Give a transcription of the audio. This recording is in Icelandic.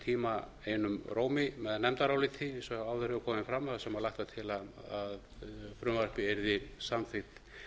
tíma einum rómi með nefndaráliti eins og áður hefur komið fram þar sem lagt var til að frumvarpið yrði samþykkt